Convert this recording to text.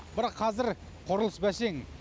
бірақ қазір құрылыс бәсең